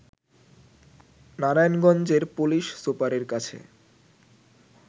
নারায়ণগঞ্জের পুলিশ সুপারের কাছে